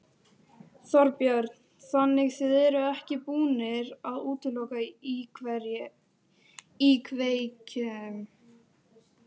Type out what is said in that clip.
Þorbjörn: Þannig þið eruð ekki búnir að útiloka íkveikju?